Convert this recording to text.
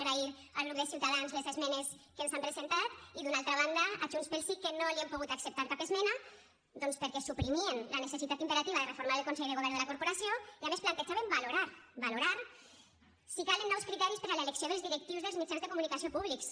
agrair al grup de ciutadans les esmenes que ens han presentat i d’una altra banda a junts pel sí que no li hem pogut acceptar cap esmena doncs perquè suprimien la necessitat imperativa de reformar el consell de govern de la corporació i a més plantejaven valorar valorar si calen nous criteris per a l’elecció dels directius dels mitjans de comunicació públics